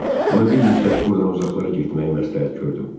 Ona bir müddət burdan uzaqlara getməyi məsləhət gördüm.